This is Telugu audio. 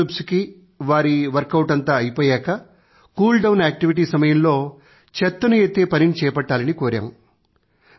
మా రన్నింగ్ గ్రూప్స్ కి వారి వర్క్ అవుట్ అయిపోయాకా కూల్ డౌన్ ఏక్టివిటీ సమయంలో చెత్తను ఎత్తే పనిని చేపట్టాలని కోరాము